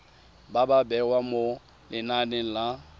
ba bewa mo lenaneng la